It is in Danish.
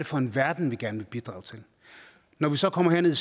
for en verden vi gerne vil bidrage til når vi så kommer herned